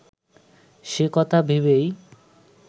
সে কথা ভেবেই